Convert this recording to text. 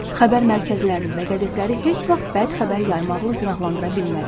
Xəbər mərkəzlərini və qəzetləri heç vaxt bəd xəbər yaymaqla günahlandıra bilmərik.